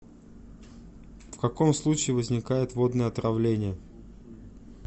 в каком случае возникает водное отравление